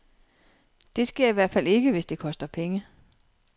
Det sker i hvert fald ikke, hvis det koster penge.